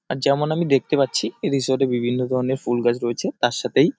যেমন আমি দেখতে পাচ্ছি এই রিসোর্ট -এ বিভিন্ন ধরনের ফুল গাছ রয়েছে। তার সাথেই--